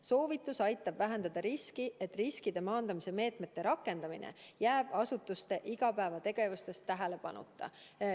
Soovitus aitab vähendada riski, et riskide maandamise meetmete rakendamine jääb asutuste igapäevategevuses tähelepanuta.